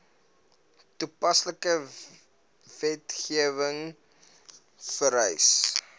toepaslike wetgewing vereis